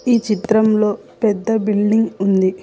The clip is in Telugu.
ఈ చిత్రంలో పెద్ద బిల్డింగ్ ఉంది.